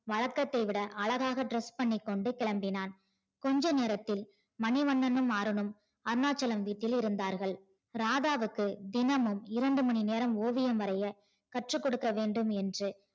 வழக்கத்தை விட அழகாக dress பண்ணிக்கொண்டு கிளம்பினான் கொஞ்ச நேரத்தில் மணிவண்ணனும் அருணும் அருணாச்சலம் வீட்டில் இருந்தார்கள் ராதாவுக்கு தினமும் இரண்டு மணி நேரம் ஓவியம் வரைய கற்று கொடுக்க வேண்டும் என்று